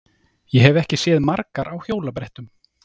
Ég hef ekki séð margar á hjólabrettum.